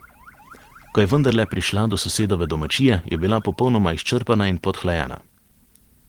Ko je vendarle prišla do sosedove domačije, je bila popolnoma izčrpana in podhlajena.